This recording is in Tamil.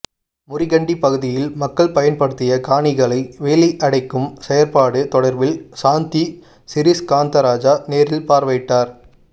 முறிகண்டி பகுதியில் மக்கள் பயன்படுத்திய காணிகளை வேலி அடைக்கும் செயற்பாடு தொடர்பில் சாந்தி சிறிஸ்காந்தராஜா நேரில் பார்வையிட்டார்